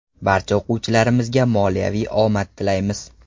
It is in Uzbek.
Barcha o‘quvchilarimizga moliyaviy omad tilaymiz.